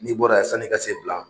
N'i bɔra yan san'i ka se Bla